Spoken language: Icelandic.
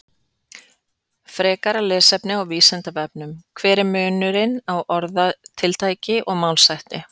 Frekara lesefni á Vísindavefnum: Hver er munurinn á orðatiltæki og málshætti?